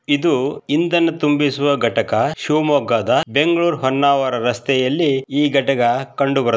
ಇದು ಇಂಧನ ತುಂಬಿಸುವ ಘಟಕ ಶಿವಮೊಗ್ಗದ ಬೆಂಗಳೂರು ಹೊನ್ನಾವರ ರಸ್ತೆಯಲ್ಲಿ ಈ ಘಟಕ ಕಂಡು ಬರುತ್ತದೆ.